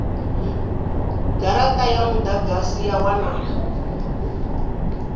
garata dza mudagasi ya wanala